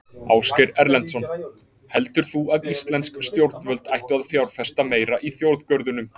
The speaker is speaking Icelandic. Ásgeir Erlendsson: Heldur þú að íslensk stjórnvöld ættu að fjárfesta meira í þjóðgörðunum?